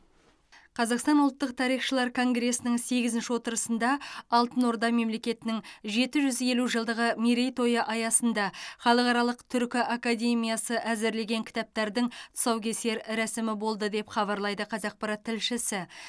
қазақстан ұлттық тарихшылар конгресінің сегізінші отырысында алтын орда мемлекетінің жеті жүз елу жылдығы мерейтойы аясында халықаралық түркі академиясы әзірлеген кітаптардың тұсаукесер рәсімі болды деп хабарлайды қазақпарат тілшісі